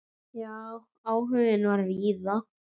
Já, áhuginn var víða.